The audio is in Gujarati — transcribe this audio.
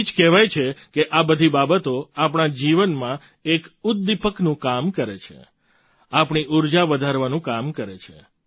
તેથી જ કહેવાય છે કે આ બધી બાબતો આપણા જીવનમાં એક ઉદ્દીપકનું કામ કરે છે આપણી ઊર્જા વધારવાનું કામ કરે છે